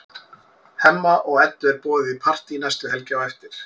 Hemma og Eddu er boðið í partí næstu helgi á eftir.